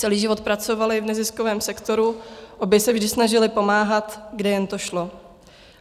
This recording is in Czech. Celý život pracovaly v neziskovém sektoru, obě se vždy snažily pomáhat, kde jen to šlo.